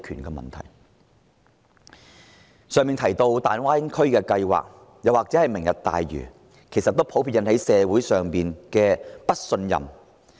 剛才提到的大灣區計劃或是"明日大嶼"，都引起社會上普遍猜疑。